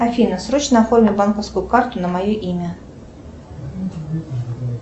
афина срочно оформи банковскую карту на мое имя